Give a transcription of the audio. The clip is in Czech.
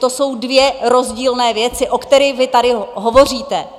To jsou dvě rozdílné věci, o kterých vy tady hovoříte.